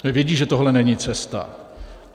Vědí, že tohle není cesta.